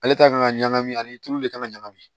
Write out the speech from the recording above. Ale ta kan ka ɲagami ani tulu de kan ŋa ɲagami